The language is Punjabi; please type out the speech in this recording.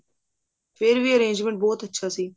ਫ਼ੇਰ ਵੀ arrangement ਬਹੁਤ ਅੱਛਾ ਸੀ